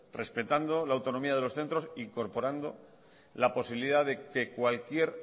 respetando la autonomía de los centros e incorporando la posibilidad de que cualquier